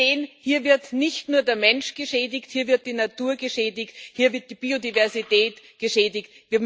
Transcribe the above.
Wir sehen, hier wird nicht nur der Mensch geschädigt, hier wird die Natur geschädigt, hier wird die Biodiversität geschädigt.